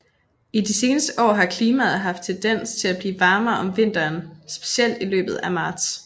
I de seneste år har klimaet haft tendens til at blive varmere om vinteren specielt i løbet af marts